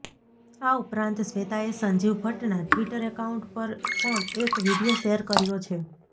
આ ઉપરાંત શ્વેતાએ સંજીવ ભટ્ટના ટ્વિટર અકાઉન્ટ પર પણ એક વીડિયો શેર કર્યો છે